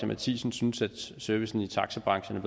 matthisen synes at servicen i taxabranchen